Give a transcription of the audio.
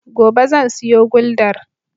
Gobe zan siyo guldar.